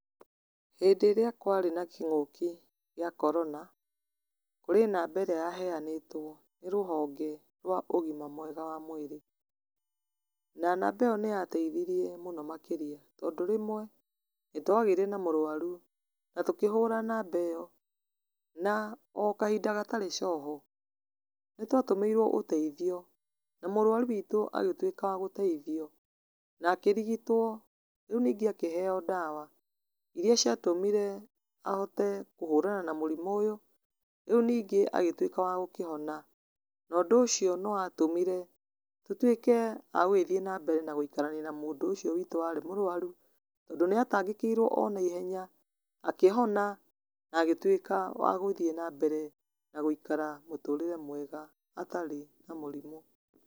Hĩndĩ ĩrĩa kwarĩ na kĩng'ũki gĩa korona kũrĩ namba ĩrĩa yaheanĩtwo nĩ rũhonge rwa ũgima mwega wa mwĩrĩ. Na namba ĩyo nĩyateithirie mũno makĩria tondũ rĩmwe nĩ twagĩire na mũrwaru na tũkĩhũra namba ĩyo, na o kahinda gatarĩ coho nĩ twatũmĩirwo ũteithio na mũrwaru witũ agĩtuĩka wa gũteithio na akĩrigitwo. Rĩu ningĩ akĩheo ndawa iria ciatũmire ahote kuhũrana na mũrimũ ũyũ, rĩu ningĩ agĩtuĩka wa gũkĩhona. Na ũndũ ũcio nĩ watũmire tũtuĩke a gũthiĩ na mbere na gũikarania na mũndũ ũyũ witũ warĩ mũrwaru. Tondũ nĩ atangĩkĩirwo o na ihenya akihona na agĩtuĩka wa gũthiĩ na mbere na gũikara mũtũrĩre mwega atarĩ na mũrimũ.